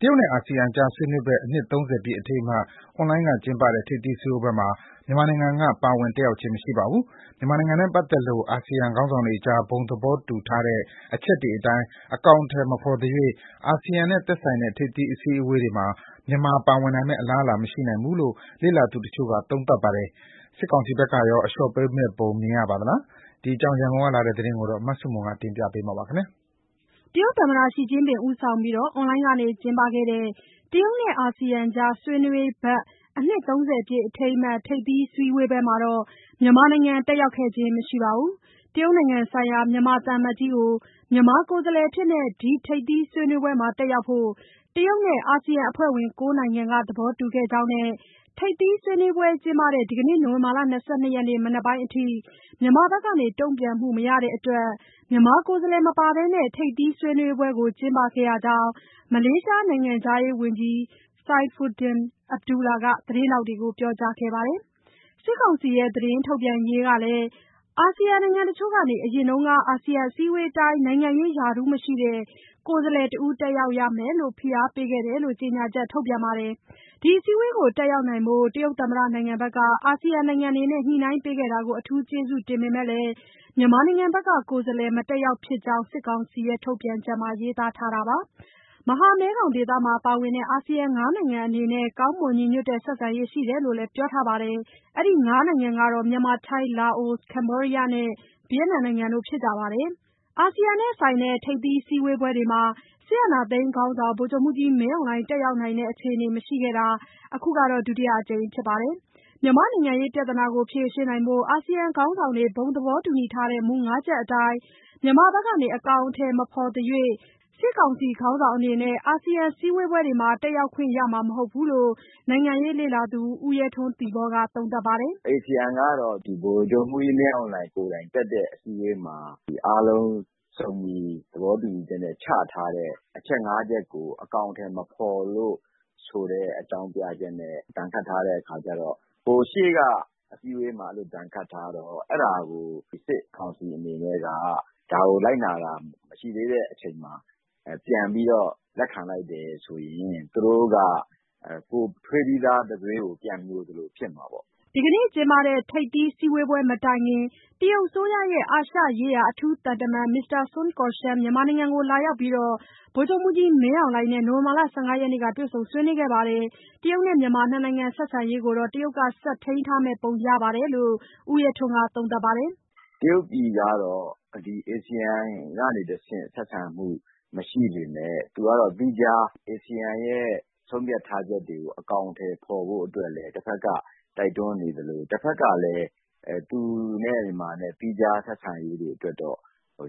တရုတ်နဲ့ အာဆီယံကြား ဆွေးနွေးဘက် အနှစ် ၃၀ ပြည့်အထိမ်းအမှတ် အွန်လိုင်းက ကျင်းပတဲ့ ထိပ်သီးစည်းဝေးပွဲမှာ မြန်မာနိုင်ငံက ပါဝင်တက်ရောက်ခြင်း မရှိပါဘူး။ မြန်မာနိုင်ငံနဲ့ပတ်သက်လို့ အာဆီယံခေါင်းဆောင်းတွေကြား ဘုံ သဘောတူထားတဲ့အချက်တွေအတိုင်း အကောင်အထည်မဖော်သရွေ့ အာဆီယံနဲ့သက်ဆိုင်တဲ့ ထိပ်သီးအစည်းအဝေးတွေမှာ မြန်မာပါဝင်နိုင်မယ့် အလားအလာ မရှိနိုင်ဘူးလို့ လေ့လာသူတချို့က သုံးသပ်ပါတယ်။ စစ်ကောင်စီဘက်ကရော အလျှော့ပေးမယ့်ပုံမြင်ရပါသလား။ ရန်ကုန်ကလာတဲ့သတင်းကို မဆုမွန်က တင်ပြပေးထားပါတယ်။ တရုတ်သမ္မတ Xi Jinping ဦးဆောင်ပြီး အွန်လိုင်းကနေကျင်းပခဲ့တဲ့ တရုတ်နဲ့ အာဆီယံကြား ဆွေးနွေးဘက် အနှစ် ၃၀ ပြည့်အထိမ်းအမှတ် ထိပ်သီးစည်းဝေးပွဲမှာ မြန်မာနိုင်ငံ တက်ရောက်ခဲ့ခြင်း မရှိပါဘူး။ တရုတ်နိုင်ငံဆိုင်ရာ မြန်မာသံအမတ် ကြီးကို မြန်မာကိုယ်စားလှယ်အဖြစ် ဒီထိပ်သီးဆွေးနွေးပွဲတက်ရောက်ဖို့ တရုတ်နဲ့ အာဆီယံအဖွဲ့ဝင် ၉နိုင်ငံကသဘောတူခဲ့ကြောင်းနဲ့ ထိပ်သီးဆွေးနွေးပွဲကျင်းပတဲ့ ဒီနေ့ နိုဝင်ဘာ ၂၂ ရက် မနက်ပိုင်းအထိ မြန်မာဘက်က တုံ့ပြန်မှုမရတဲ့အတွက် မြန်မာကိုယ်စားလှယ်မပါဘဲ ထိပ်သီးဆွေးနွေးပွဲကို ကျင်းပခဲ့ကြောင်း မလေးရှားနိုင်ငံခြားရေးဝန်ကြီး Saifuddin Abdullah ကသတင်းထောက်တွေကို ပြောကြားခဲ့ပါတယ်။ စစ်ကောင်စီရဲ့ သတင်းထုတ်ပြန်ရေးကလည်း အာဆီနိုင်ငံတချို့က အရင်က အာဆီယံအစည်းအဝေးအတိုင်း နိုင်ငံရေးရာထူးမရှိတဲ့ ကိုယ်စားလှယ်တဦး တက်ရောက်ရမယ်လို့ ဖိအားပေးခဲ့တယ်လို့ ကြေညာချက် ထုတ်ပြန်ပါတယ်။ ဒီအစည်းအဝေးကို တက်ရောက်နိုင်ဖို့ တရုတ်သမ္မတနိုင်ငံက အာဆီယံနိုင်ငံတွေနဲ့ ညှိနှိုင်းပေးခဲ့တာ အထူးကျေးဇူးတင်ပေမဲ့လည်း မြန်မာဘက် ကကိုယ်စားလှယ်မတက်ဖြစ်ကြောင်း စစ်ကောင်စီရဲ့ ထုတ်ပြန်ချက်မှာ ရေးသားထားတာပါ။ မဟာမဲခေါင်ဒေသမှာပါဝင်တဲ့ အာဆီယံ ၅ နိုင်ငံအနေနဲ့ ကောင်းမွန် ညီညွတ်တဲ့ ဆက်ဆံရေးရှိတယ်လို့လည်း ပြောထားပါတယ်။ အဲဒီ ၅ နိုင်ငံကတော့ မြန်မာ၊ ထိုင်း၊ လာအို၊ ကဗ္ဘောဒီးယားနဲ့ ဗီယက်နမ်နိုင်ငံတို့ဖြစ်ကြပါတယ်။ အာဆီယံနဲ့ဆိုင်တဲ့ ထိပ်သီးစည်းဝေးပွဲတွေမှာ စစ်အာဏာသိမ်းခေါင်းဆောင် ဗိုလ် ချုပ်မှူးကြီးမင်းအောင်လှိုင် တက်ရောက်နိုင်တဲ့ အခြေအနေမရှိခဲ့တာ အခုက ဒုတိယအကြိမ်ဖြစ်ပါတယ်။ မြန်မာ့နိုင်ငံရေးပြဿနာဖြေရှင်းနိုင်ဖို့ အာဆီယံခေါင်းဆောင်တွေ ဘုံသဘောတူညီထားတဲ့ မူ (၅) ချက်အတိုင်း မြန်မာဘက်က အကောင်အထည်မဖော်သရွေ့ စစ်ကောင်စီခေါင်းဆောင်အနေနဲ့ အာဆီယံစည်းဝေးပွဲတွေ တက်ရောက်ခွင့်ရနိုင်မှာ မဟုတ်ဘူးလို့ နိုင်ငံရေးလေ့လာသူ ဦးရဲထွန်း ( သီပေါ) က သုံးသပ်ပါတယ်။ "ASEAN ကတော့ဗိုလ်ချုပ်မှူးကြီးမင်းအောင်လှိုင်ကိုယ်တိုင်တက်တဲ့ အစည်းအဝေးမှာ အားလုံးစုံညီသဘောတူညီချက်နဲ့ချထားတဲ့ အချက် ၅ ချက်ကိုအကောင်အထည်မဖော်လို့ဆိုတဲ့အကြောင်းပြချက်နဲ့ရှေ့ကအစည်းအဝေးမှာ ဒဏ်ခတ်ထားတော့အဲဒါကိုစစ်ကောင်စီအနေနဲ့က ဒါကိုလိုက်နာတာမရှိသေးတဲ့အချိန်မှာ ပြန်ပြီးတော့လက်ခံလိုက်တယ်ဆိုရင်သူတို့ကကိုယ်ထွေးပြီးသား တံတွေးကို ပြန်မြိုသလိုဖြစ်မှာပေါ့။" ဒီနေ့ကျင်းပတဲ့ ထိပ်သီးစည်းဝေးပွဲမတိုင်ခင် တရုတ်အစိုးရရဲ့ အာရှရေးရာ တရုတ် အထူးသံတမန် မစ္စတာစွန်ကော့ရှန် မြန်မာနိုင်ငံလာရောက်ပြီး ဗိုလ်ချုပ်မှူးကြီး မင်းအောင်လှိုင်နဲ့ နိုဝင်ဘာ ၁၅ ရက်က တွေ့ဆုံဆွေးနွေးခဲ့ပါတယ်။ တရုတ်နဲ့ မြန်မာ ၂ နိုင်ငံဆက်ဆံရေးကိုတော့ တရုတ်က ဆက်ထိမ်းထားမယ့် ပုံရတယ်လို့ ဦးရဲထွန်းက သုံးသပ်ပါတယ်။ "တရုတ်ပြည်ကတော့ဒီ ASEAN ကနေတဆင့် ဆက်ဆံမှု မရှိပေမယ့်သူကတော့သီးခြား ASEAN ရဲ့ ဆုံးဖြတ်ထားချက်တွေကို အကောင်အထည်ဖော်ဖို့အတွက်လည်း တဖက်ကတိုက်တွန်းနေသလိုတဖက်ကလည်း သူနဲ့မြန်မာ သီးခြားဆက်ဆံရေးအတွက်တော့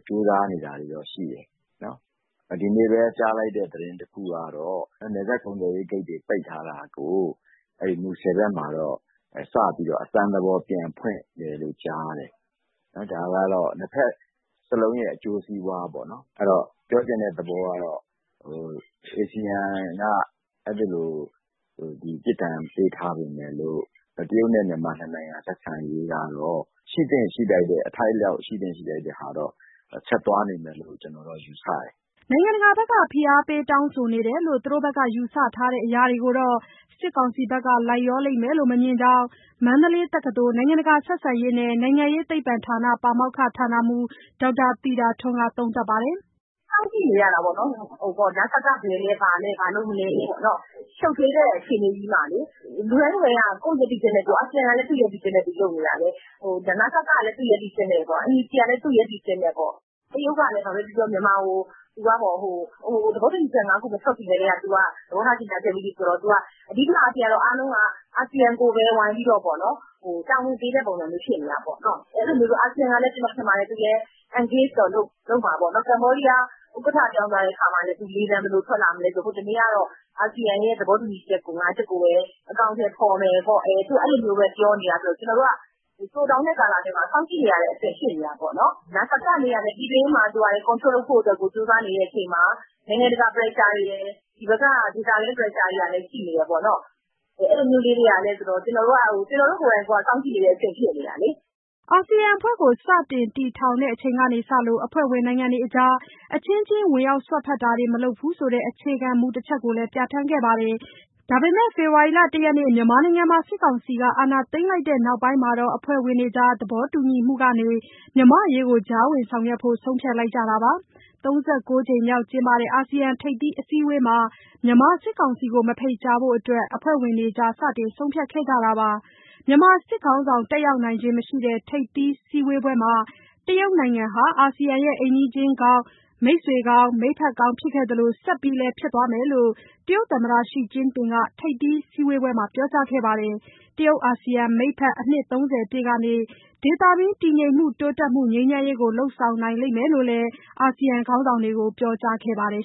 ကြိုးစားနေတာတွေတော့ရှိတယ်။ ဒီနေ့ပဲကြားလိုက်ရတဲ့သတင်းတခုကတော့ နယ်စပ်ကုန်သွယ်ရေးဂိတ်တွေပိတ်ထားတာကို မူဆယ်ဘက်မှာတော့ စပြီးတော့ အစမ်းသဘောပြန်ဖွင့်နေတယ်ကြားတယ်။ ဒါကတော့နှစ်ဘက်စလုံးရဲ့အကျိုးစီးပွားပေါ့နော်။ အဲတော့ပြောချင်တဲ့သဘောကတော့ASEAN ကအဲဒီလို ပြစ်ဒဏ်ပေးထားပေမယ့်လို့ တရုတ်နဲ့မြန်မာနှစ်နိုင်ငံဆက်ဆံရေးကတော့ အထိုက်အလျောက် ရှိသင့်ရှိထိုက်တဲ့ဟာတော့ဆက်သွားနေမယ်လို့ကျနော်ကတော့ယူဆတယ်။" နိုင်ငံတကာဘက်က ဖိအားပေးတောင်းဆိုနေတယ်လို့ သူတို့ဘက်က ယူဆတဲ့အရာတွေကိုတော့ စစ်ကောင်စီဘက်က လိုက်လျောလိမ့်မယ်လို့ မမြင်ကြောင်း မန္တလေးတက္ကသိုလ် နိုင်ငံတကာဆက်ဆံရေးနှင့် နိုင်ငံရေးသိပ္ပံဌာန ပါမောက္ခ (ဌာနမှူး) ဒေါက်တာသီတာထွန်းက သုံးသပ်ပါတယ်။ "စောင့်ကြည့်နေရတာပေါ့နော် နစက ဘယ်လဲ၊ ဘာလဲ၊ ဘာလုပ်မလဲပေါ့။ ရှုပ်ထွေး တဲ့ အခြေအနေကြီးမှာလေ။ လူတိုင်းလူတိုင်းက ကိုယ့်ရပ်တည်ချက်နဲ့ကိုယ် အာဆီယံကလည်း သူ့ရပ်တည်ချက်နဲ့သူ လုပ်နေတာပဲ၊ နစက ကလည်း သူ့ရပ်တည်ချက်နဲ့ပေါ့၊ NUG ကလည်း သူ့ရပ်တည်ချက်နဲ့ပေါ့။ တရုတ်ကလည်း ဘာပဲပြောပြော မြန်မာကို သဘောတူညီချက် ၅ ခု မထွက်ခင်ကတည်းက သူက သဘောထား ကြေညာခဲ့ပြီးပြီဆိုတော့ အဓိကအားဖြင့်ကတော့ အားလုံးက အာဆီယံကိုပဲ ဝိုင်းပြီးတော့ပေါ့နော်-တာဝန်ပေးတဲ့ပုံစံမျိုး ဖြစ်နေတာပေါ့။ အာဆီယံကလည်း ကျနော်ထင်ပါတယ်၊ သူလည်း engageတော့လုပ်မှာပေါ့နော်။ ကမ္ဘောဒီးယား ဥက္ကဋ္ဌ ပြောင်းသွားတဲ့အခါမှာလည်း သူလေသံ ဘယ်လိုထွက်လာမလဲဆိုတော့ ဟိုနေ့ကတော့ အာဆီယံရဲ့ သဘောတူညီချက် ၅ ချက်ကိုပဲ အကောင်အထည်ဖော်မယ်ပေါ့။ အဲလိုပဲပြောနေတာဆိုတော့ ကျနော်တို့က တိုတောင်းတဲ့ကာလထဲမှာ စောင့်ကြည့်နေရတဲ့အဆင့် ဖြစ်နေတာပေါ့။ နစကအနေနဲ့ကလည်း ပြည်တွင်းမှာ control လုပ်ဖို့ ကြိုးစားနေတဲ့အချိန်မှာ နိုင်ငံတကာ pressure တွေ၊ ဒီဘက်က ဒေသတွင်း pressure တွေကလည်း ရှိနေတယ်ပေါ့နော်။အဲလိုမျိုးလေးတွေကလည်းဆိုတော့ ကျနော်တို့ကိုယ်တိုင်ကိုယ်က စောင့်ကြည့်နေတဲ့အဆင့် ဖြစ်နေတာ။" အာဆီယံအဖွဲ့ကိုစတင်တည်ထောင်တဲ့ အချိန်ကစလို့ အဖွဲ့ဝင်နိုင်ငံတွေကြား အချင်းချင်း ဝင်ရောက်စွက်ဖက်တာ မလုပ်ဘူးဆိုတဲ့ အခြေခံမူတချက်ကိုလည်း ပြဋ္ဌာန်းခဲ့ပါတယ်။ ဒါပေမဲ့ ဖေဖော်ဝါရီ ၁ ရက် မြန်မာနိုင်ငံမှာ စစ်ကောင်စီက အာဏာသိမ်းလိုက်တဲ့ နောက်ပိုင်းမှာတော့ အဖွဲ့ဝင်တွေကြား သဘောတူညီမှုကနေ မြန်မာ့အရေးကို ကြားဝင်ဆောင်ရွက်ဖို့ ဆုံးဖြတ်လိုက်ကြတာပါ။ ၃၉ ကြိမ်မြောက်ကျင်းပတဲ့ အာဆီယံထိပ်သီးအစည်းအဝေးမှာ မြန်မာ စစ်ကောင်စီကို မဖိတ်ကြားဖို့အတွက် အဖွဲ့ဝင်တွေကြား စတင်ဆုံးဖြတ်ခဲ့ကြတာပါ။ မြန်မာစစ်ခေါင်းဆောင် တက်ရောက်နိုင်ခြင်းမရှိတဲ့ ထိပ်သီးစည်းဝေးပွဲမှာ တရုတ်နိုင်ငံဟာ အာဆီယံရဲ့ အိမ်နီးချင်းကောင်း၊ မိတ်ဆွေကောင်း၊ မိတ်ဖက်ကောင်းဖြစ်ခဲ့သလို ဆက်လည်း ဖြစ်သွားမယ်လို့ တရုတ်သမ္မတ Xi Jinping ထိပ်သီးစည်းဝေးပွဲမှာ ပြောကြားခဲ့ပါတယ်။ တရုတ်- အာဆီယံ မိတ်ဖက် အနှစ်သုံးဆယ်ပြည့်ကနေဒေသတွင်း တည်ငြိမ်မှု၊ တိုးတက်မှုနဲ့ ငြိမ်းချမ်းရေးကို လုပ်ဆောင်နိုင်လိမ့်မယ်လို့လည်း အာဆီယံခေါင်းဆောင်တွေကို ပြောကြားခဲ့ပါတယ်